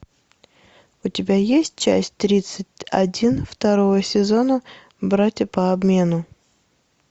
у тебя есть часть тридцать один второго сезона братья по обмену